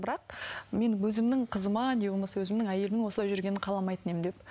бірақ мен өзімнің қызыма не болмаса өзімнің әйелімнің осылай жүргенін қаламайтын едім деп